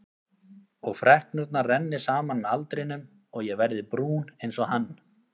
Og freknurnar renni saman með aldrinum og ég verði brún einsog hann.